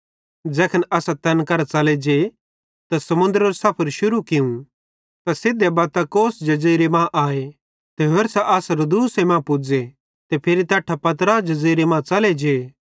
ज़ैखन असां तैन करां च़ले जे त समुन्दरेरे सफर शुरू कियूं त सिधे बत्तां कोस जज़ीरे मां आए ते होरसां अस रूदुस मां पुज़े ते फिरी तैट्ठां पतरा जज़ीरे मां च़ले जे